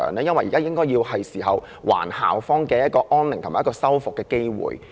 因為現在是時候還校方安寧和修復的機會。